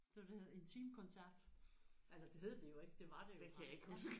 Der var det der hed intim koncert altså det hed det jo ikke det var det jo bare ja